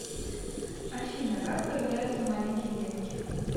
афина как появляются маленькие детки